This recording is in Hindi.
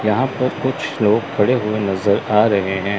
यहां पे कुछ लोग खड़े हुए नजर आ रहे हैं।